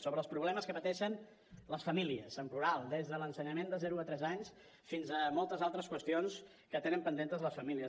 sobre els problemes que pateixen les famílies en plural des de l’ensenyament de zero a tres anys fins a moltes altres qüestions que tenen pendents les famílies